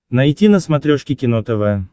найти на смотрешке кино тв